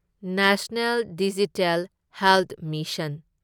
national digital health mission